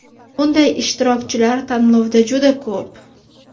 Bunday ishtirokchilar tanlovda juda ko‘p.